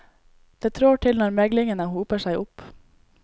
Det trår til når meglingene hoper seg opp.